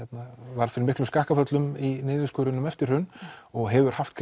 varð fyrir miklum skakkaföllum í niðurskurðinum eftir hrun og hefur haft